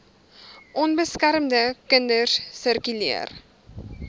onbeskermde kinders sirkuleer